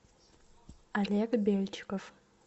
олег бельчиков